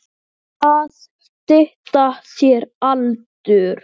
Og allir að segja sís!